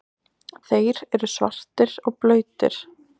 Þeir eru svartir og blautir.